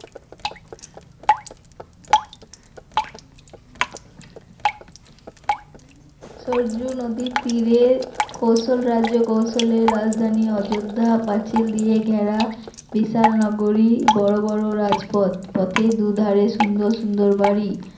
সরযূ নদীর তীরে কৌশল রাজ্য কৌশলের রাজধানী। অযোধ্যা পাচিল দিয়ে ঘেরা বিশাল নগরী বড় বড় রাজপথ, পথের দু ধারে সুন্দর সুন্দর বাড়ি।